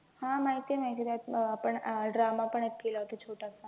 हा माहित आहे माहित आहे, त्या अं आपण अं drama पण एक केला होता छोटासा